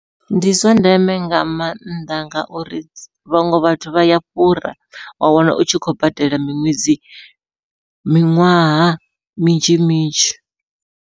Ndi zwa ndeme nga maanḓa ngauri vhaṅwe vhathu vha ya fhura, wa wana utshi khou badela miṅwedzi miṅwaha minzhi minzhi.